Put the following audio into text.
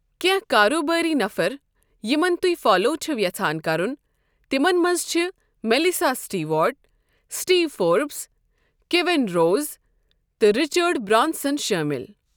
کینٛہہ کارٕبٲرۍ نفر یِمَن تُہۍ فالَو چھِو یژھان کَرُن تِمَن منٛز چھِ Melissa Stewart, Steve Forbes, Kevin Rose, تہٕ رچرڈ برانسن شٲمِل۔